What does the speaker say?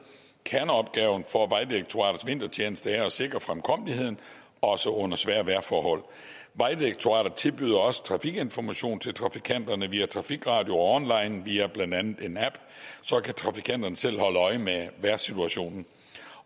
kerneopgaven for vejdirektoratets vintertjeneste er at sikre fremkommeligheden også under svære vejrforhold vejdirektoratet tilbyder også trafikinformation til trafikanterne via trafikradio og online via blandt andet en app og så kan trafikanterne selv holde øje med vejrsituationen